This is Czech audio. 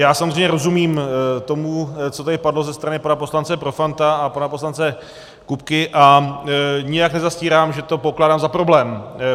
Já samozřejmě rozumím tomu, co tady padlo ze strany pana poslance Profanta a pana poslance Kupky, a nijak nezastírám, že to pokládám za problém.